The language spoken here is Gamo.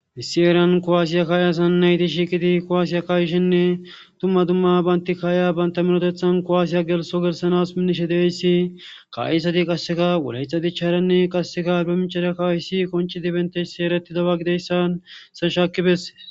Issi eran kowaasiya kaay asan nayti shiiqidi kowaasiya kayishenne tumma dumma baynti kaaya baynta minotethan kowaasiya gelso gelsanas minishe deyssi kayisati qasseka woleyxa dicharanne qasseka bemichara kaayisi konci dibentessi ereti daba gideyssan senshaakibesses.